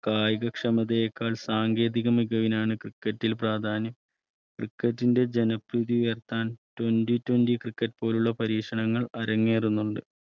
കായിക ക്ഷമതയെക്കാൾ സാങ്കേതിക മികവിന് ഇതിൽ പ്രാധാന്യം cricket ന്റെ ജന പ്രീതി ഉയർത്താൻ Twenty Twenty cricket പോലുള്ളപരീക്ഷണങ്ങൾ അരങ്ങേറുന്നുണ്ട്